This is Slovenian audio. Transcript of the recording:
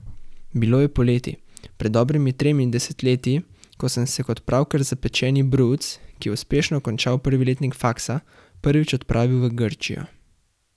Bilo je poleti pred dobrimi tremi desetletji, ko sem se kot pravkar zapečeni bruc, ki je uspešno končal prvi letnik faksa, prvič odpravil v Grčijo.